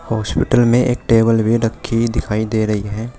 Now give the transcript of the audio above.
Hospital में एक table भी रखी हुई दिखाई दे रही है।